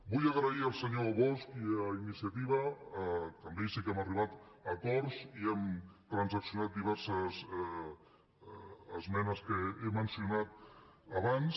vull donar les gràcies al senyor bosch i a iniciativa que amb ells sí que hem arribat a acords i hem transaccionat diverses esmenes que he mencionat abans